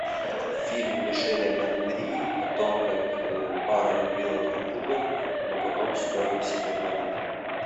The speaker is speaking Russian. фильм мишеля гондри о том как пара любила друг друга но потом стерли себе память